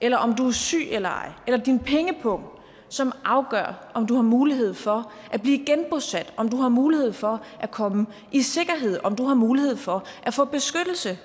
eller om du er syg eller ej eller din pengepung som afgør om du har mulighed for at blive genbosat om du har mulighed for at komme i sikkerhed om du har mulighed for at få beskyttelse